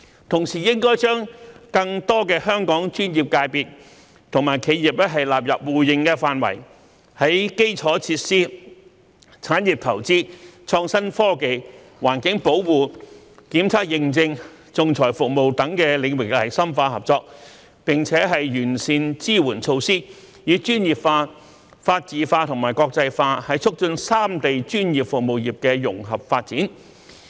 同時，粵港澳三地應將更多的香港專業界別及企業納入互認範圍，在基礎設施、產業投資、創新科技、環境保護、檢測認證和仲裁服務等領域深化合作，並完善支援措施，以專業化、法治化和國際化促進三地專業服務業的融合發展。